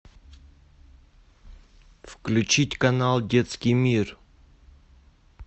включить канал детский мир